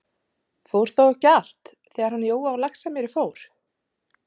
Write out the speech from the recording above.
Fór þá ekki allt, þegar hann Jói á Laxamýri fór?